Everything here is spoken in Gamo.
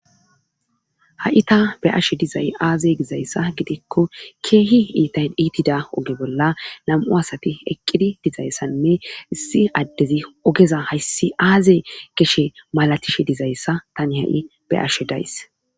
ha7i ta be ashe dizay aaze gizayssa gidikko keehi iitay iitida oge bolla lam7u asati eqqidi dizayssanne issi addezi ogeza hayssi aaze geshe malatishe dizayssa tani ha7i be ashe days